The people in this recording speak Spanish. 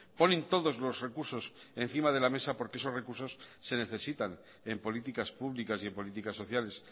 ponen todos los recursos encima de la mesa porque esos recursos se necesitan en políticas públicas y en políticas sociales